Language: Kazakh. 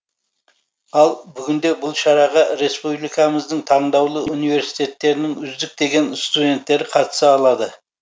ал бүгінде бұл шараға республикамыздың таңдаулы университеттерінің үздік деген студенттері қатыса алады